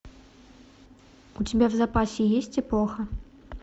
у тебя в запасе есть эпоха